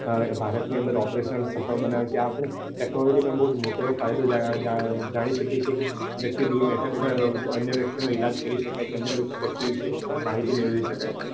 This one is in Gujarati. ભારત ની અંદર oparation સફળ બનાવે છે આ technology બઉ મોટો જાણી શકીએ છીએ વ્યક્તિ દુર બેઠા બેઠા અન્ય વ્યક્તિ નો ઈલાજ કરી સકાય છે અન્ય વિષે માહિતી મેળવી શકાય છે